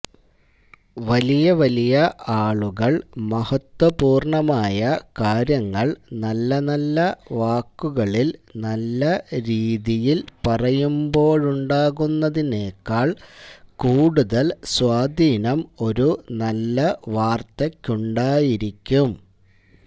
വലിയ വലിയ ആളുകള് മഹത്വപൂര്ണമായ കാര്യങ്ങള് നല്ലനല്ല വാക്കുകളില് നല്ല രീതിയില് പറയുമ്പോഴുണ്ടാകുന്നതിനേക്കാള് കൂടുതല് സ്വാധീനം ഒരു നല്ല വാര്ത്തയ്ക്കുണ്ടായിരിക്കും